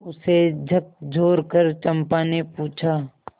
उसे झकझोरकर चंपा ने पूछा